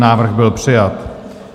Návrh byl přijat.